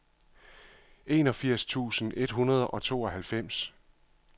enogfirs tusind et hundrede og tooghalvfems